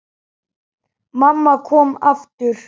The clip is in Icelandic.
Mamma kom aftur.